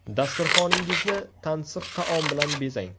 Dasturxoningizni tansiq taom bilan bezang!